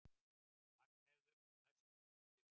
Magnheiður, læstu útidyrunum.